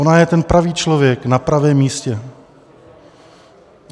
Ona je ten pravý člověk na pravém místě.